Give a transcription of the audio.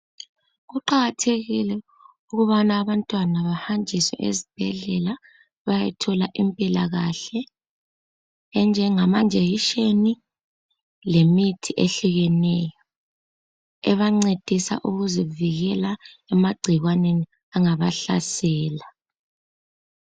Kuqakathekile ukuthi abantwana behanjiswe ezibhedlela ukuze bathole impilakahle enjenga jekiseni lemithi ehlukeneyo ebangcedisa ukuzivikela emangcikwaneni angaba hlasela